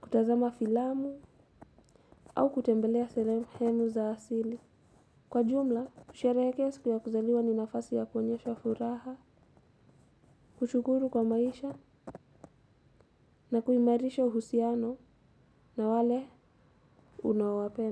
kutazama filamu au kutembelea sehemu za asili. Kwa jumla, kushereke siku ya kuzaliwa ni nafasi ya koenyesha furaha. Kushukuru kwa maisha na kuimarisha uhusiano na wale unaowapenda.